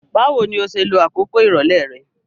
Báwoni o se lo àkókò ìrọ̀lẹ́ re